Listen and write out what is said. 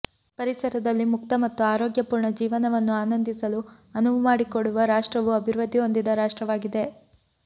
ಪರಿಸರದಲ್ಲಿ ಮುಕ್ತ ಮತ್ತು ಆರೋಗ್ಯಪೂರ್ಣ ಜೀವನವನ್ನು ಆನಂದಿಸಲು ಅನುವು ಮಾಡಿಕೊಡುವ ರಾಷ್ಟ್ರವು ಅಭಿವೃದ್ಧಿ ಹೊಂದಿದ ರಾಷ್ಟ್ರವಾಗಿದೆ